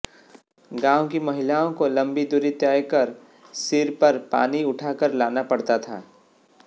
गांव की महिलाओं को लम्बी दूरी तय कर सिर पर पानी उठाकर लाना पड़ता था